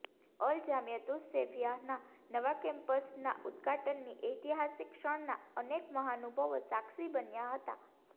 અલ જામિયા તુસ સૈફિયાહના નવા કેમ્પસના ઉદઘાટનની ઐતિહાસિક ક્ષણના અનેક મહાનુભાવો સાક્ષી બન્યા હતા